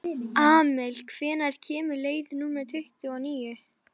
Amil, hvenær kemur leið númer tuttugu og níu?